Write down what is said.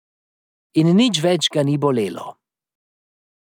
In nič več ga ni bolelo.